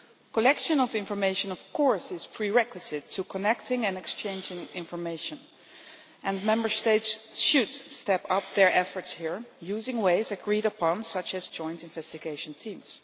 Collection of information is, of course, a prerequisite for connecting and exchanging information, and Member States should step up their efforts here, using agreed methods such as joint investigation teams.